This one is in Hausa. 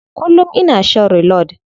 Kullum ina shan reload.